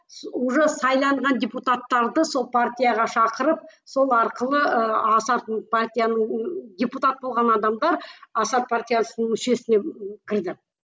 уже сайланған депутаттарды сол партияға шақырып сол арқылы ы асардың партияның ы депутат болған адамдар асар партиясының мүшесіне кірді